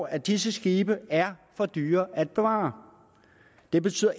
at disse skibe er for dyre at bevare det betyder